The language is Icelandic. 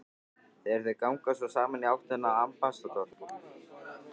Þegar þau ganga svo saman í áttina að Ambassador